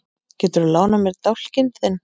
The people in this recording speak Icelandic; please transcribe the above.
Geturðu lánað mér dálkinn þinn?